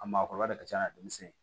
A maakɔrɔba de ka ca n'a denmisɛnnin ye